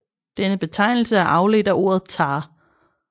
Denne betegnelse er afledt af ordet tä